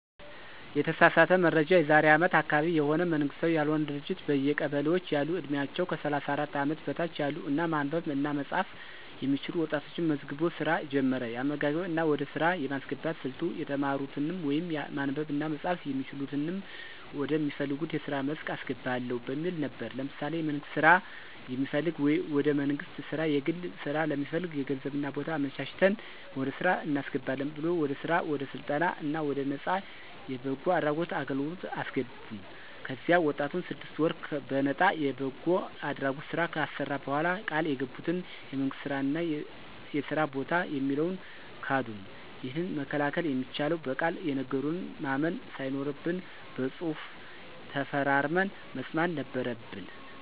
የተሳሳተ መረጃ የዛሬ አመት አካባቢ የሆነ መንግስታዊ ያልሆነ ድርጅት በየቀበሌዎች ያሉ ዕድሜያቸው ከ 34 አመት በታች ያሉ እና ማንበብ እና መፃፍ የሚችሉ ወጣቶችን መዝግቦ ሥራ ጀመረ። የአመዘጋገብ እና ወደ ሥራ የማስገባት ሥልቱ የተማሩትንም ወይም ማንበብ እና መጻፍ የሚችሉትንም ወደ ሚፈልጉት የስራ መስክ አስገባለሁ በሚል ነበር። ለምሳሌ የመንግስት ስራ የሚፈልግ ወደ መንግስት ስራ፣ የግል ስራ ለሚፈልግ ገንዘብ እና ቦታ አመቻችተን ወደ ስራ እናስገባለን ብሎ ወደ ስራ ወደ ስልጠና እና ወደ ነፃ የበጎ አድራጎት አገልግለት አሰገቡን። ከዚያ ወጣቱን ስድስት ወር በነጣ የበጎ አድራጎት ስራ ካሰራ በኋላ ቃል የገቡትን የመንግስት ስራ እና የስራ በታ የሚለውን ካዱን። ይህንን መከላከል የሚቻለው በቃል የነገሩንን ማመን ሳይኖርብን በፅሁፍ ተፈራርመን መስማት ነበረበን።